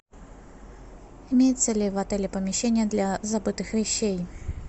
имеется ли в отеле помещение для забытых вещей